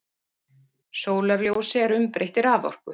Sólarljósi er umbreytt í raforku.